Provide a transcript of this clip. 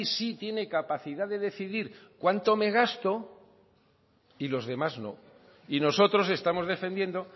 sí tiene capacidad de decidir cuánto me gasto y los demás no y nosotros estamos defendiendo